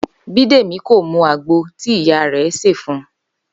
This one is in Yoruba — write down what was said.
Bídèmí kò mu àgbo tí ìyá rẹ̀ sè fun